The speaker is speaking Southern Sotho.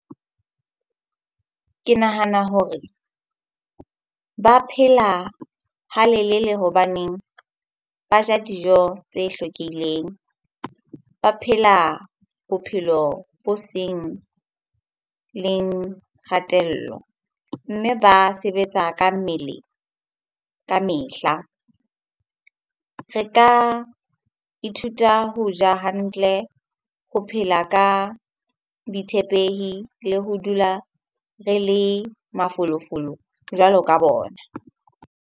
Ke nahana hore ba phela ha lelele hobaneng ba ja dijo tse hlwekileng. Ba phela bophelo bo seng leng kgatello. Mme ba sebetsa ka mmele ka mehla. Re ka ithuta ho ja hantle, ho phela ka boitshepehi le ho dula re le mafolofolo jwalo ka bona.